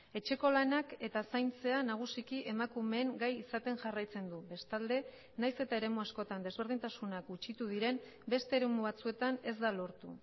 etxeko lanak eta zaintzea nagusiki emakumeen gai izaten jarraitzen du bestalde nahiz eta eremu askotan desberdintasunak gutxitu diren beste eremu batzuetan ez da lortu